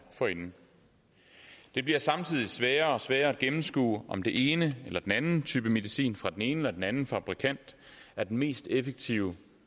forinden det bliver samtidig sværere og sværere at gennemskue om den ene eller den anden type medicin fra den ene eller den anden fabrikant er den mest effektive